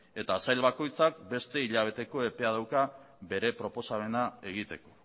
eta sail bakoitzak beste hilabeteko epea dauka bere proposamena egiteko